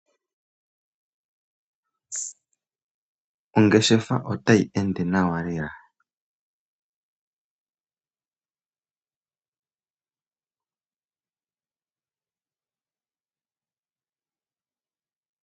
Ongeshefa otayi ende nawa lela.